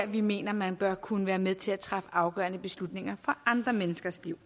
vi mener man bør kunne være med til at træffe afgørende beslutninger for andre menneskers liv